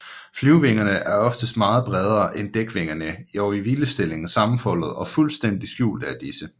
Flyvevingerne er oftest meget bredere end dækvingerne og i hvilestilling sammenfoldede og fuldstændig skjulte af disse